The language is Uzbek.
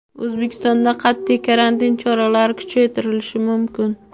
O‘zbekistonda qat’iy karantin choralari kuchaytirilishi mumkin.